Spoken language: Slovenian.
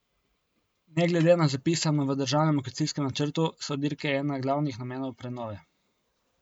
Ne glede na zapisano v državnem lokacijskem načrtu, so dirke ena glavnih namenov prenove.